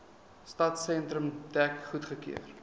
stadsentrum dek goedgekeur